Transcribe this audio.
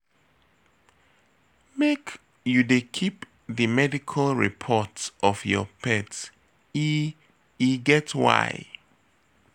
Make you dey keep di medical report of your pet, e e get why.